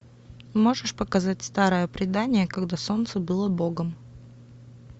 можешь показать старое предание когда солнце было богом